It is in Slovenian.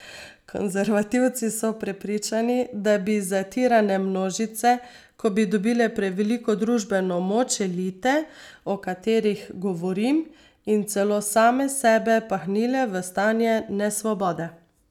Konservativci so prepričani, da bi zatirane množice, ko bi dobile preveliko družbeno moč, elite, o katerih govorim, in celo same sebe pahnile v stanje nesvobode.